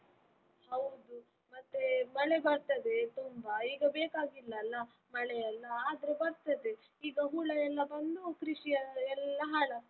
ಹೌದು, ಮತ್ತೆ ಮಳೆ ಬರ್ತದೆ ತುಂಬಾ ಈಗ ಬೇಕಾಗಿಲ್ಲ ಅಲ ಮಳೆಯೆಲ್ಲ, ಆದ್ರೂ ಬರ್ತದೆ ಈಗ ಹುಳ ಎಲ್ಲ ಬಂದು ಕೃಷಿ ಎಲ್ಲ ಹಾಳಾಗ್ತದೆ.